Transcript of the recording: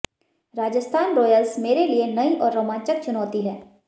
Rajasthan Royals मेरे लिए नई और रोमांचक चुनौती है